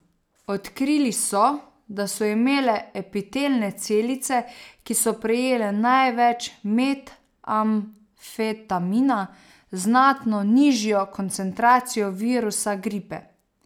Odkrili so, da so imele epitelne celice, ki so prejele največ metamfetamina, znatno nižjo koncentracijo virusa gripe.